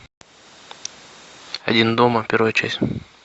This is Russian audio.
один дома первая часть